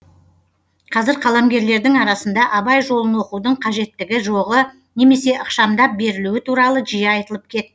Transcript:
қазір қаламгерлердің арасында абай жолын оқудың қажеттігі жоғы немесе ықшамдап берілуі туралы жиі айтылып кет